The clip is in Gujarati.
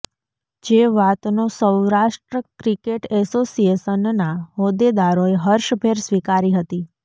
જે વાતનો સૌરાષ્ટ્ર ક્રિકેટ એસોશિએશનના હોદેદારોએ હર્ષભેર સ્વીકારી હતી